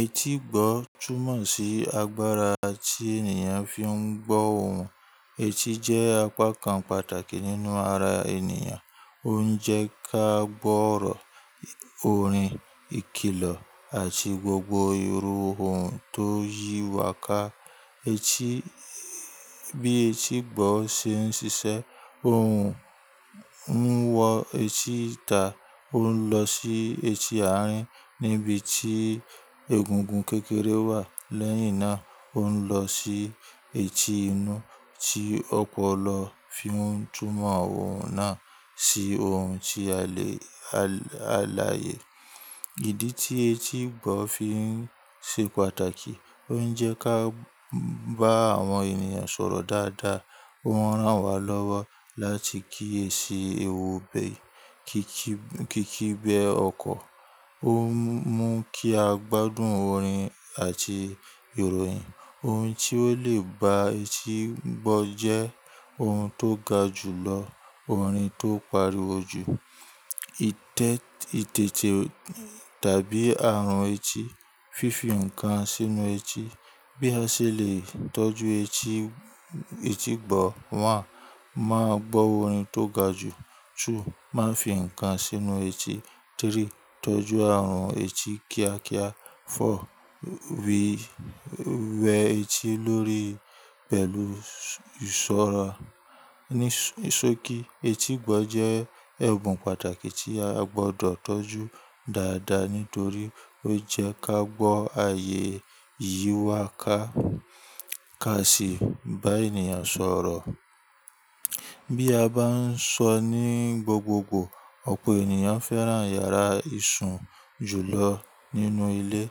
Etí gbọ́ túmọ̀ sí agbára tí ènìyàn fi ń gbọ́ ohùn. Etí jẹ́ apakan pàtàkì nínú ara ènìyàn, ó ń jẹ́ ká gbọ́ ọ̀rọ̀, orin, ìkìlọ̀ àti gbogbo irú ohùn tó yí wà ká. Etí, bí etí gbọ́ ṣe ń ṣiṣẹ́, ohùn ń wọ etí ìta, ó ń lọ sí etí àárín níbi tí egungun kékeré wà. Lẹ́yìn náà ó ń lọ sí etí inú tí ọpọlọ fi ń túmọ̀ ohùn náà sí ohun tí alẹ-- alààyè. Ìdí tí etí gbọ́ fi ń ṣe pàtàkì, ó ń jẹ́ ká bá àwọn ènìyàn sọ̀rọ̀ dáadáa, ó ń rán wa lọ́wọ́ láti kí e ṣi ewubẹ̀, kí kí-- kí kí bẹ ọkọ, ó ń mú kí a gbádùn orin àti ìròyìn. Ohun tí ó lè ba etí gbọ́ jẹ́ ohun tó ga jùlọ orin tó pariwo jù, ìtẹ-- ìtètè tàbí àrùn etí, fífi nǹkan sínú etí. Bí a ṣe lè tọ́jú etí, etí gbọ́, 1. Máa gbọ́ orin tó ga jù, 2. Máa fi nǹkan sínú etí, 3. Tọ́jú àrùn etí kíákíá, 4. Wí-- wẹ etí lórí pẹ̀lú ìṣọ̀rọ̀. Nís-- ní só kí etí gbọ́ jẹ́ ẹ̀bùn pàtàkì tí a gbọ́dọ̀ tọ́jú dáadáa nítorí ó jẹ́ ká gbọ́ ààyè yí wà ká ká sì bá ènìyàn sọ̀rọ̀. Bí a bá ń sọ ní gbogbogbò, ọ̀pọ̀ ènìyàn fẹ́ràn yàrá ìṣùn jùlọ nínú ilé.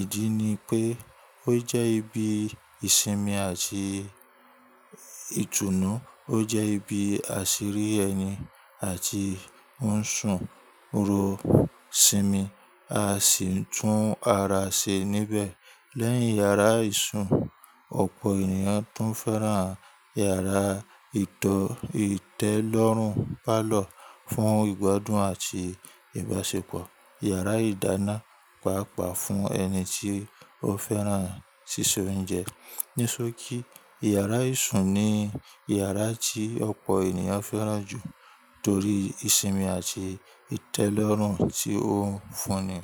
Ìdí ni pé ó jẹ́ ibi ìsinmi àti ìtùnú, ó jẹ́ ibi àṣírí ẹni àti ń ṣùn ro sinmi, a sì ń tún ara ṣe níbẹ̀. Lẹ́yìn yàrá ìṣùn, ọ̀pọ̀ ènìyàn tún fẹ́ràn yàrá ìtọ-- ìtẹ́lọ́rùn, parlour, fún ìgbádùn àti ìbáṣepọ̀. Yàrá ìdáná, pàápàá fún ẹni tí ó fẹ́ràn síse oúnjẹ. Nísọ́ kí yàrá ìṣùn ni yàrá tí ọ̀pọ̀ ènìyàn fẹ́ràn jù torí ìsinmi àti ìtẹ́lọ́rùn tí ó ń fún ni.